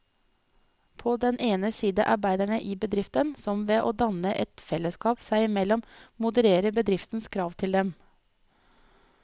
På den ene side arbeiderne i bedriften, som ved å danne et fellesskap seg imellom modererer bedriftens krav til dem.